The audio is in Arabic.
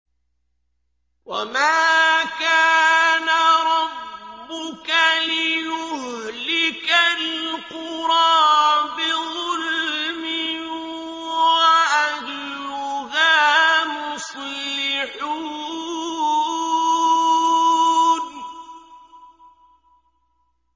وَمَا كَانَ رَبُّكَ لِيُهْلِكَ الْقُرَىٰ بِظُلْمٍ وَأَهْلُهَا مُصْلِحُونَ